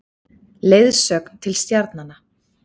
Leiðsögn til stjarnanna.